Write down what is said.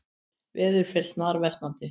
Veður fer snarversnandi